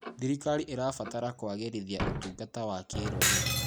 Thirikari ĩrabatara kũagĩrithia ũtungata wa kĩrũrĩrĩ.